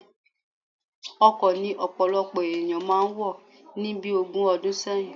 Ọkọ ni ọ̀pọ̀lọpọ̀ ènìyàn máa wọ̀ ni bí ogún ọdún sẹ́yìn